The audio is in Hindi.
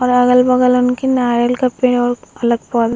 और अगल-बगल उनके नारियल का पेड़ --